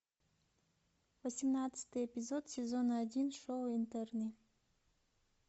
восемнадцатый эпизод сезона один шоу интерны